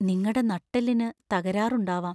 നിങ്ങടെ നട്ടെല്ലിനു തകരാറുണ്ടാവാം.